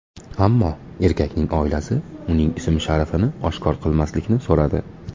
Ammo erkakning oilasi uning ism-sharifini oshkor qilmaslikni so‘radi.